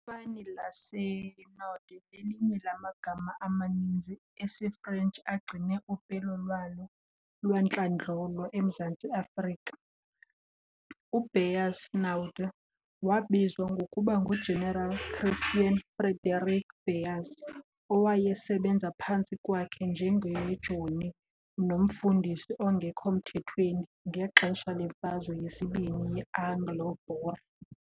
Ifani laseNaudé lelinye lamagama amaninzi esiFrentshi agcine upelo lwawo lwantlandlolo eMzantsi Afrika. U-Beyers Naudé wabizwa ngokuba ngu-General Christiaan Frederick Beyers, owayesebenza phantsi kwakhe njengejoni nomfundisi ongekho mthethweni ngexesha lemfazwe yesibini ye-Anglo-Boer.